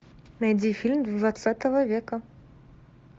найди фильм двадцатого века